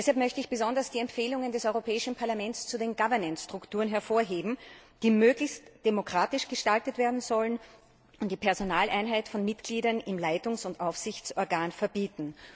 Deshalb möchte ich besonders die Empfehlungen des Europäischen Parlaments zu den Governance Strukturen hervorheben, die möglichst demokratisch gestaltet werden sollen und die Personaleinheit von Mitgliedern im Leitungs und Aufsichtsorgan verbieten.